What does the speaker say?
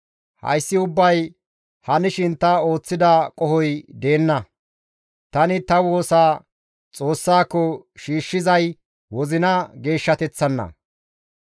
Hayssi ubbay hanshin ta ooththida qohoy deenna; tani ta woosa Xoossako shiishshizay wozina geeshshateththanna.